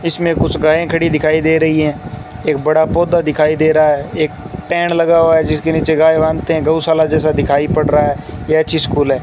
इसमें कुछ गायें खड़ी दिखाई दे रही है एक बड़ा पौधा दिखाई दे रहा है एक टेंट लगा हुआ है जिसके नीचे गाय बांधते हैं गऊशाला जैसा दिखाई पड़ रहा है यह अच्छी स्कूल है।